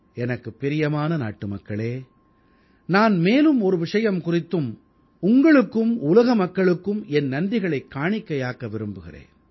எனக்குப் பிரியமான நாட்டுமக்களே நான் மேலும் ஒரு விஷயம் குறித்தும் உங்களுக்கும் உலக மக்களுக்கும் என் நன்றிகளைக் காணிக்கையாக்க விரும்புகிறேன்